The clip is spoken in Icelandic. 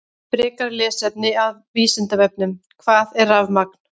Frekara lesefni af Vísindavefnum: Hvað er rafmagn?